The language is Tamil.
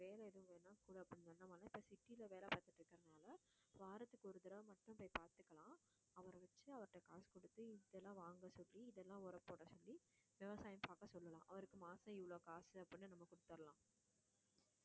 வேலை எதுவும் வேணும்னா நாம வந்து இப்போ city ல வேலை பாத்துட்டு இருக்கறதுனால வாரத்துக்கு ஒரு தடவை மட்டும் போய் பார்த்துக்கலாம் அவரை வச்சு அவர்ட்ட காசு கொடுத்து இதெல்லாம் வாங்க சொல்லி இதெல்லாம் உரம்போட சொல்லி விவசாயம் பார்க்க சொல்லலாம் அவருக்கு மாசம் இவ்வளவு காசு அப்படின்னு நம்ம கொடுத்திடலாம்